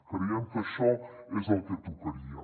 creiem que això és el que tocaria